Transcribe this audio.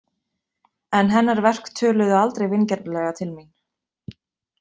En hennar verk töluðu aldrei vingjarnlega til mín.